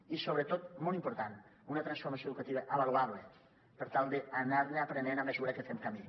i sobretot molt important una transformació educativa avaluable per tal d’anar ne aprenent a mesura que fem camí